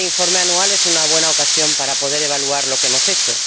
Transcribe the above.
Y este informe anual es una buena ocasión para poder evaluar lo que hemos hecho.